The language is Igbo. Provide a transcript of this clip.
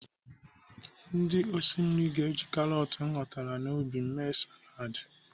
Ndị osi nri ga-eji karọt m ghọtara n'ubi m sie mee saladị.